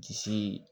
Disi